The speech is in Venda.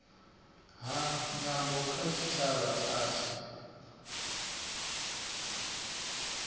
ha nyambo kha tshitshavha tshashu